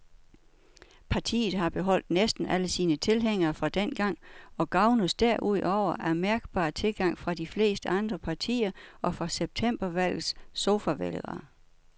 Partiet har beholdt næsten alle sine tilhængere fra dengang og gavnes derudover af mærkbar tilgang fra de fleste andre partier og fra septembervalgets sofavælgere.